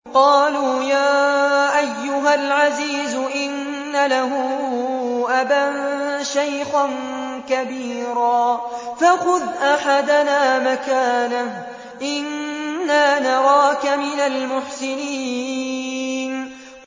قَالُوا يَا أَيُّهَا الْعَزِيزُ إِنَّ لَهُ أَبًا شَيْخًا كَبِيرًا فَخُذْ أَحَدَنَا مَكَانَهُ ۖ إِنَّا نَرَاكَ مِنَ الْمُحْسِنِينَ